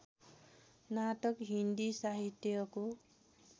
नाटक हिन्दी साहित्यको